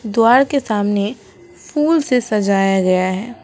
द्वार के सामने फूल से सजाया गया है।